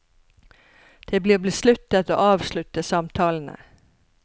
Det blir besluttet å avslutte samtalene.